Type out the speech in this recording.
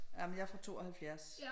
Jamen jeg er fra 72